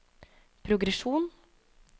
progresjon